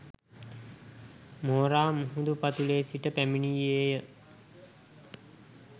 මෝරා මුහුදු පතුලේ සිට පැමිණියේය.